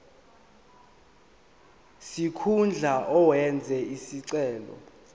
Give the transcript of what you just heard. sikhundla owenze isicelo